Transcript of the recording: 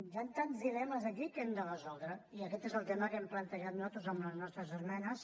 hi han tants dilemes aquí que hem de resoldre i aquest és el tema que hem plantejat nosaltres amb les nostres esmenes